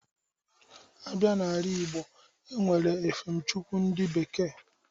Abịa n'ala-igb)o, enwere efem chukwu ndị bekee.